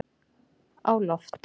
á loft